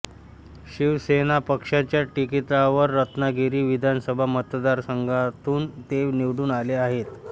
शिवसेना पक्षाच्या तिकिटावर रत्नागिरी विधानसभा मतदारसंघातून ते निवडून आले आहेत